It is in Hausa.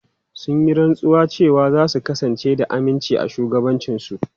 Sun yi rantsuwa cewa za su kasance da aminci a shugabancinsu.